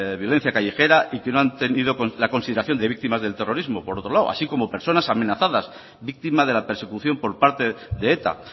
violencia callejera y que no han tenido la consideración de víctimas del terrorismo por otro lado así como personas amenazadas víctima de la persecución por parte de eta